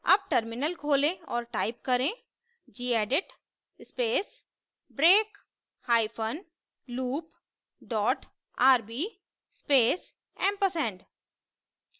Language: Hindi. अब टर्मिनल खोलें और टाइप करें gedit space break hyphen loop dot rb space ampersand